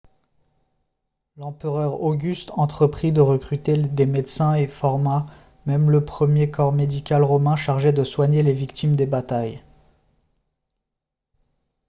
l'empereur auguste entreprit de recruter des médecins et forma même le premier corps médical romain chargé de soigner les victimes des batailles